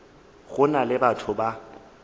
go na le batho ba